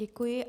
Děkuji.